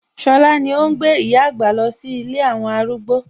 Ṣọlá ni óhún gbé ìyá àgbà lọ sí ilé àwọn arúgbó